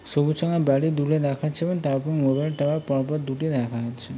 সবুজ রঙের বাড়ি দূরে দেখাচ্ছে তারপরে মোবাইল টাওয়ার পরপর দুটি দেখা যাচ্ছে।